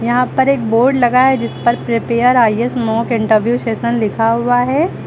यहां पर एक बोर्ड लगा है जिस पर prepare IAS mock interview session लिखा हुआ है।